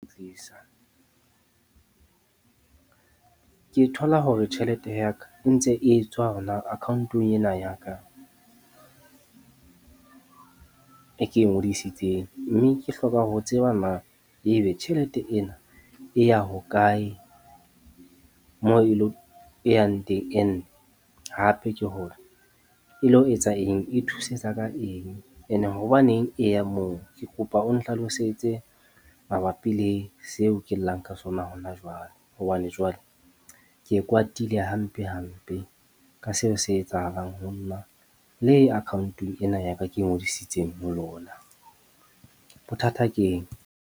Tlisa ke thola hore tjhelete ya ka e ntse e tswa hona account-ong ena ya ka, e ke e ngodisitseng. Mme ke hloka ho tseba na ebe tjhelete ena e ya hokae moo e lo e yang teng? And hape ke hore e lo etsa eng, e thusetsa ka eng? Ene hobaneng e ya moo? Ke kopa o nhlalosetse mabapi le seo ke llang ka sona hona jwale. Hobane jwale ke kwatile hampe hampe ka seo se etsahalang ho na le account-ong ena ya ka ke ngodisitseng ho lona. Bothata ke eng?